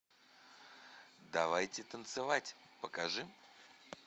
давайте танцевать покажи